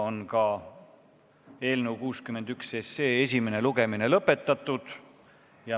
Ka eelnõu 61 esimene lugemine on lõpetatud.